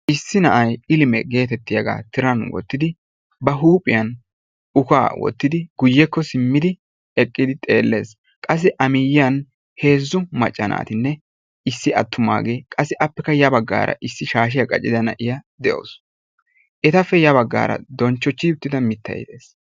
Tiran wottida naa"u naati issisan eqqidaageeti beettoosona. ha naatikka maayido maayuwa meray zo"onne karettanne adil"e mera. ha maayoykka eti wolaytta gidiyoogaa wolayttatettaa qonccissiyaga.